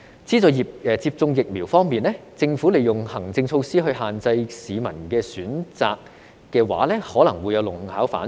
資助接種疫苗方面，如果政府利用行政措施限制市民的選擇的話，可能會弄巧反拙。